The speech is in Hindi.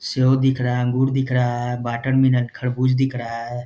सेब दिख रहा है अंगूर दिख रहा है वाटरमेलन खरबूज दिख रहा है।